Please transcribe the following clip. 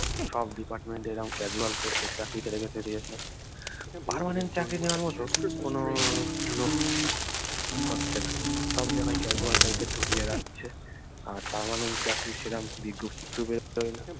সব department এ এরকম casual post এ চাকরিতে রেখে দিয়েছে permanent চাকরি নেওয়ার মতো কোনো লোক হচ্ছে না সব জায়গায় casual type এর ঢুকিয়ে রাখছে আর permanent চাকরি সেরকম বিজ্ঞপ্তি তো বের হয়না